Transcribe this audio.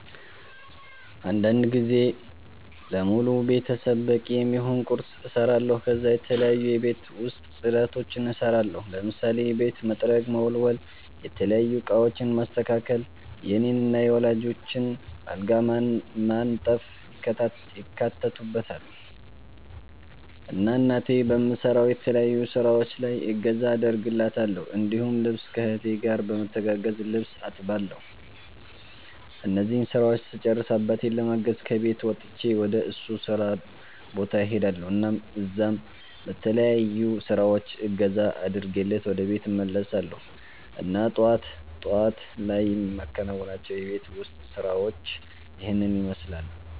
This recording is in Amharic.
አንዳንድ ጊዜ ለሙሉ ቤተሰብ በቂ የሚሆን ቁርስ እሰራለሁ ከዛ የተለያዩ የቤት ውስጥ ፅዳቶችን እሰራለሁ ለምሳሌ ቤት መጥረግ፣ መወልወል፣ የተለያዩ እቃወችን ማስተካከል፣ የኔን እና የወላጆቸን አልጋ ማንጠፍ ይካተትበታል። እና እናቴ በምሰራው የተለያዩ ስራወች ላይ እገዛ አደርግላታለሁ እንዲሁም ልብስ ከ እህቴ ጋር በመተጋገዝ ልብስ አጥባለሁ እነዚህን ስራወች ስጨርስ አባቴን ለማገዝ ከቤት ወጥቸ ወደ እሱ ስራ ቦታ እሄዳልሁ እና እዛም በተለያዩ ስራወች እገዛ አድርጌለት ወደ ቤት እመለሳለሁ እና ጠዋት ጠዋት ላይ የማከናዉናቸው የቤት ውስጥ ስራወች ይህንን ይመስላሉ